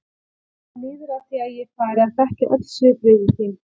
Það líður að því að ég fari að þekkja öll svipbrigði þín.